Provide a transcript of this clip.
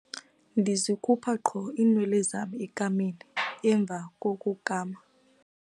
Ndizikhupha qho iinwele zam ekameni emva kokukama.